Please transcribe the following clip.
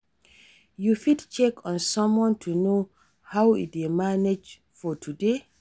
You fit check on someone to know how e dey manage for today.